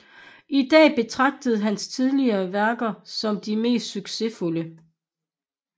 I dag betragtes hans tidlige værker som de mest succesfulde